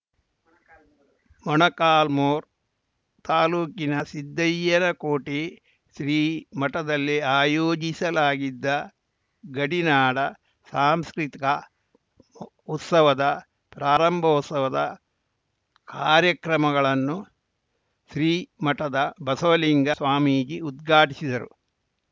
ಮೊಣಕಾಲ್ಮುರು ತಾಲೂಕಿನ ಸಿದ್ದಯ್ಯನಕೋಟೆ ಶ್ರೀ ಮಠದಲ್ಲಿ ಆಯೋಜಿಸಲಾಗಿದ್ದ ಗಡಿನಾಡ ಸಾಂಸ್ಕೃತಿಕ ಉತ್ಸವದ ಪ್ರಾರಂಭೋತ್ಸವದ ಕಾರ್ಯಕ್ರಮಗಳನ್ನು ಶ್ರೀಮಠದ ಬಸವಲಿಂಗ ಸ್ವಾಮೀಜಿ ಉದ್ಘಾಟಿಸಿದರು